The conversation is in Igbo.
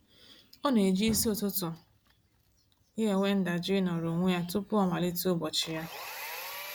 Ọ na-eji isi ụtụtụ ya enwe ndajụ ịnọrọ onwe ya tụpụ ọ malite ụbọchị ya.